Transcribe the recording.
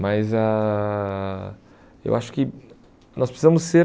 Mas ãh eu acho que nós precisamos ser...